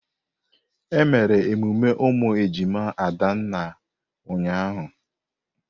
Emere emume ụmụ ejima Adanna ụnyahụ.